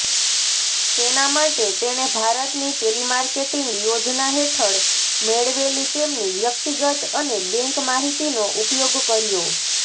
તેના માટે તેણે ભારતની ટેલિમાર્કેટિંગ યોજના હેઠળ મેળવેલી તેમની વ્યક્તિગત અને બેંક માહિતીનો ઉપયોગ કર્યો